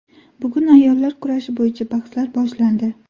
Bugun ayollar kurashi bo‘yicha bahslar boshlandi.